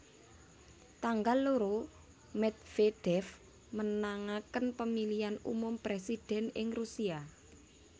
Tanggal loro Medvedev menangaken Pemilihan Umum Presiden ing Rusia